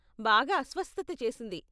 బాగా అస్వస్థత చేసింది.